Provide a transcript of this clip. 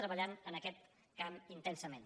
treballem en aquest camp intensament